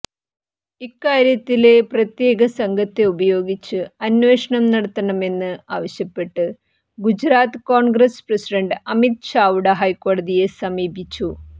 ഇക്കാര്യത്തില് പ്രത്യേക സംഘത്തെ ഉപയോഗിച്ച് അന്വേഷണം നടത്തണമെന്ന് ആവശ്യപ്പെട്ട് ഗുജറാത്ത കോണ്ഗ്രസ് പ്രസിഡന്റ് അമിത് ചാവ്ഡ ഹൈക്കോടതിയെ സമീപിച്ചു